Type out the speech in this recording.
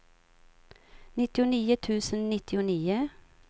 nittionio tusen nittionio